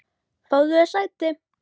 Fáðu þér sæti!